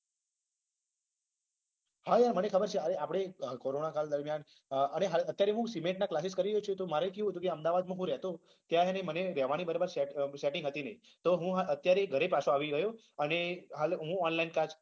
હા મને ખબર છે કોરોના કાળ દરમિયાન અને અત્યારે હું ના classics કરી રહ્યો મારે કેવું હતું અહમદાવાદ હું રહેતો રહેવાની petting હતી નઈ તો હું અત્યારે ઘરે પાછો આવી ગયો અને કાળે હું online class